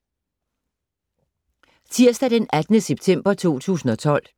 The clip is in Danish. Tirsdag d. 18. september 2012